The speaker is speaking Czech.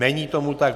Není tomu tak.